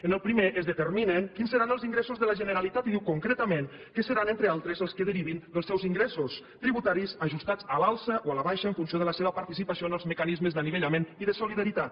en el primer es determinen quins seran els ingressos de la generalitat i diu concretament que seran entre altres els que derivin dels seus ingressos tributaris ajustats a l’alça o a la baixa en funció de la seva participació en els mecanismes d’anivellament i de solidaritat